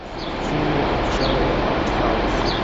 фильмы в жанре артхаус